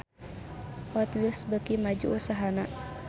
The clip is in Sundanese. Hot Wheels beuki maju usahana